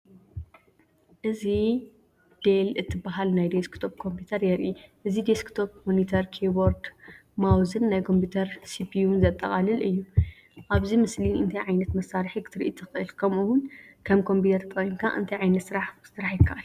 እዚ "ዴል" እትበሃል ናይ ዴስክቶፕ ኮምፒተር የርኢ። እዚ ዴስክቶፕ ሞኒተር፣ ኪቦርድ፣ ማውስን ናይ ኮምፒተር ሲፒዩን ዘጠቓልል እዩ። ኣብዚ ምስሊ እንታይ ዓይነት መሳርሒ ክትሪኢ ትኽእል? ከምኡ’ውን ከም ኮምፒተር ተጠቒምካ እንታይ ዓይነት ስራሕ ክስራሕ ይከኣል?